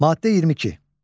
Maddə 22.